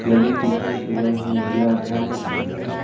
लगे दिखाई दे रहे हैं नीला आसमान दिखाई दे रहा है।